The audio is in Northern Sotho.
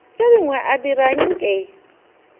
tše dingwe a dira nke